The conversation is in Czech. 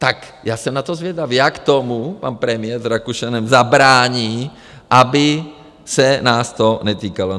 Tak já jsem na to zvědav, jak tomu pan premiér s Rakušanem zabrání, aby se nás to netýkalo.